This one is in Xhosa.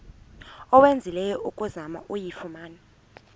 owenzileyo ukuzama ukuyifumana